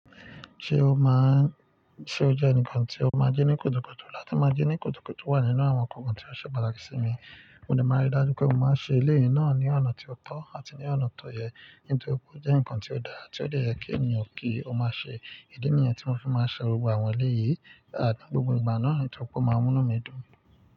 Ṣe ó jẹ́ ǹkan tí o máa ń jí ní kùtùkùtù láti máa jí ní kùtùkùtù wà nínú àwọn ǹkan tí ó ṣe pàtàkì sí mi, mo de máa rí dájú pé mo máa ń ṣe eleyìí náà ní ọ̀nà tí ó tọ́ àti ní ọ̀nà tó yẹ nítorí pe o je ǹkan tí ó dáa tí ó de yẹ kí ènìyàn kí ó máa ṣe. Ìdí nìyẹn tí mo fi máa ń ṣe gbogbo àwọn eleyìí. Gbogbo ìgbà náà, toripe o máa ń mú enu mi dùn ni.